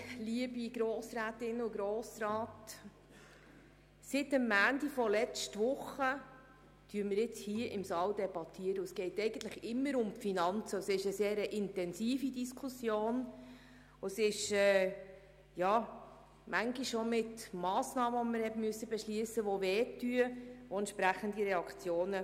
Die Diskussion war jeweils sehr intensiv und mit entsprechenden Reaktionen verbunden, wenn Massnahmen beschlossen wurden, die schmerzten.